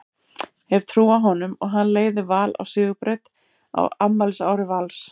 Hef trú á honum og hann leiði Val á sigurbraut á afmælisári Vals.